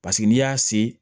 Paseke n'i y'a se